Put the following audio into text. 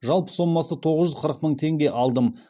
жалпы сомасы тоғыз жүз қырық мың теңге алдым